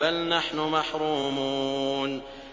بَلْ نَحْنُ مَحْرُومُونَ